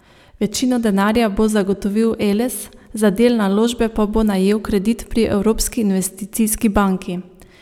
Večino denarja bo zagotovil Eles, za del naložbe pa bo najel kredit pri Evropski investicijski banki.